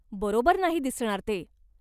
बरोबर नाही दिसणार ते.